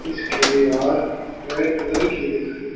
इसकी दीवार red colour की दिखाई--